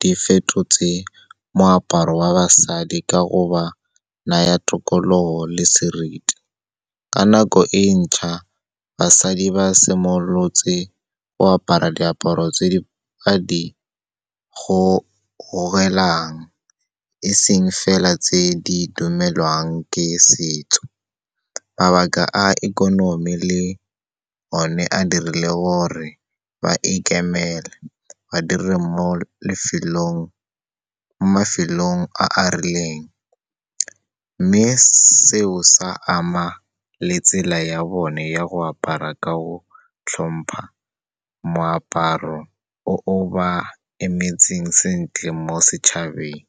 di fetotse moaparo wa basadi ka go ba naya tokologo le seriti. Ka nako e ntšha, basadi ba simolotse go apara diaparo tse ba di gogelang eseng fela tse di dumelwang ke setso. Mabaka a ikonomi le one a dirile gore ba ikemele, ba dire mo mafelong a a rileng. Mme seo, sa ama le tsela ya bone ya go apara ka o hlompha, moaparo o o ba emetseng sentle mo setšhabeng.